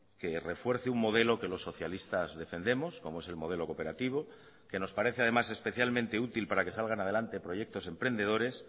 que refuerce un modelo que los socialistas defendemos como es el modelo cooperativo que nos parece además especialmente útil para que salgan adelante proyectos emprendedores